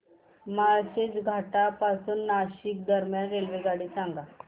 माळशेज घाटा पासून नाशिक दरम्यान रेल्वेगाडी सांगा